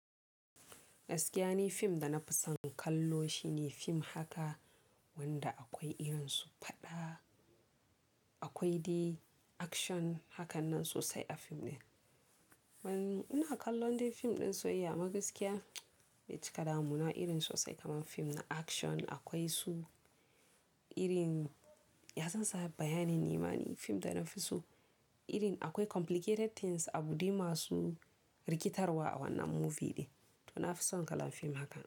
Gaskiya ni fim da na fi son kallo shine fim haka wanda akwai irin su faɗa, akwai dai action, hakan nan sosai a fim ɗin. Ehm ina kallon dai fim ɗin soyayya amma gaskiya, bai cika damuna irin sosai kaman fim na action akwai su irin, ya zansa bayani ni ma ne fim da na fi so. Irin akwai complicated things, abu dai masu rikitarwa a wannan movie ɗin to na fi son kallon fim haka.